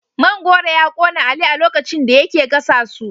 Man goro ya kona Ali a lokacin da yake gasa su